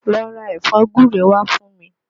Lọ ra ẹ̀fọ́ gúre wá fún mi!